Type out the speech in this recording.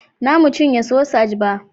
Na mu cinye sosaj ba